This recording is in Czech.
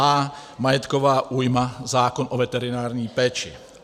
a) Majetková újma - zákon o veterinární péči.